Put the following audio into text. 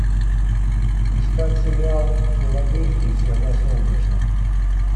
искать сериал в филадельфии всегда солнечно